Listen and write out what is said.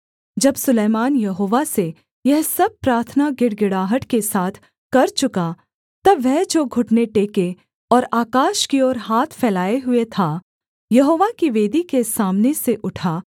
जब सुलैमान यहोवा से यह सब प्रार्थना गिड़गिड़ाहट के साथ कर चुका तब वह जो घुटने टेके और आकाश की ओर हाथ फैलाए हुए था यहोवा की वेदी के सामने से उठा